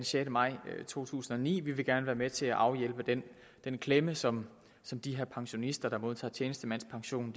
sjette maj to tusind og ni vi vil gerne være med til at afhjælpe den klemme som som de her pensionister der modtager tjenestemandspension